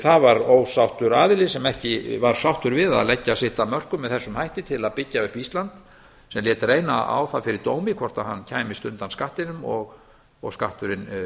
það var ósáttur aðili sem ekki var sáttur við að leggja sitt af mörkum með þessum hætti til að byggja upp ísland sem lét reyna á það fyrir dómi hvort hann kæmist undan skattinum og skatturinn